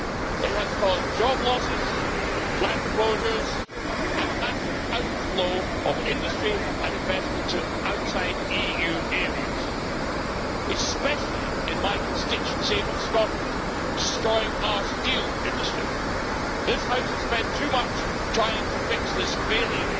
It has caused job losses, plant closures and a massive outflow of industry and investment to outside EU areas especially in my constituency of Scotland, where it has destroyed our steel industry. This House has spent too much of its time trying to fix this failing